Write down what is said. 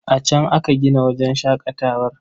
A can aka gina wajen shaƙatawar.